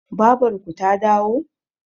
babarku ta dawo?